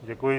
Děkuji.